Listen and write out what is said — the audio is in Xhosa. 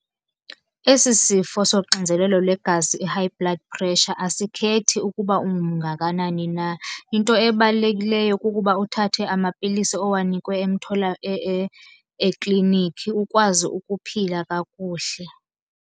Esi sifo soxinzelelo lwegazi, i-high blood pressure asikhethi ukuba umngakanani na. Into ebalulekileyo kukuba uthathe amapilisi owanikwe ekliniki ukwazi ukuphila kakuhle.